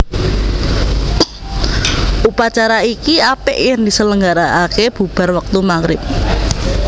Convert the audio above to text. Upacara iki apik yen diselenggaraake bubar wektu maghrib